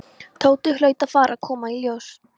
Tóti hlaut að fara að koma í ljós.